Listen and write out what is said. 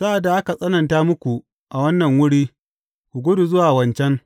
Sa’ad da aka tsananta muku a wannan wuri, ku gudu zuwa wancan.